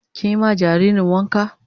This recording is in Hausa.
Kin yi ma jaririn wanka?